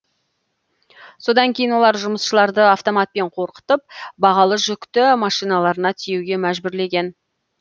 содан кейін олар жұмысшыларды автоматпен қорқытып бағалы жүкті машиналарына тиеуге мәжбүрлеген